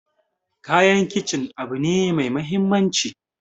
Kayan kicin abu ne mai muhimmanci